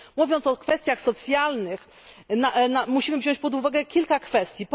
Mówiąc o kwestiach socjalnych, musimy wziąć pod uwagę kilka aspektów.